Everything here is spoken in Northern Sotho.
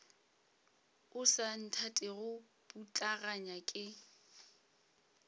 o sa nthatego putlaganya ke